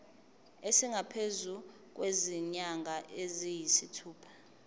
esingaphezu kwezinyanga eziyisithupha